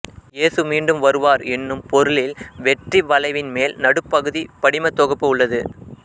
இயேசு மீண்டும் வருவார் என்னும் பொருளில் வெற்றி வளைவின் மேல் நடுப்பகுதிப் படிமத் தொகுப்பு உள்ளது